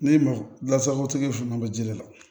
Ne masagotigi fanga bɛ ji de la